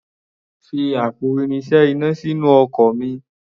Fi àpò irinṣẹ́ iná sínú ọkọ̀ mi.